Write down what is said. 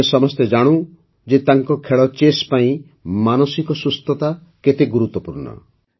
ଆମେ ସମସ୍ତେ ଜାଣୁ ଯେ ତାଙ୍କ ଖେଳ ଚେସ୍ ପାଇଁ ମାନସିକ ସୁସ୍ଥତା କେତେ ଗୁରୁତ୍ୱପୂର୍ଣ୍ଣ